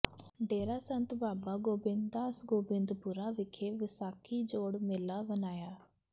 ਡੇਰਾ ਸੰਤ ਬਾਬਾ ਗੋਬਿੰਦਦਾਸ ਗੋਬਿੰਦਪੁਰਾ ਵਿਖੇ ਵਿਸਾਖੀ ਜੋੜ ਮੇਲਾ ਮਨਾਇਆ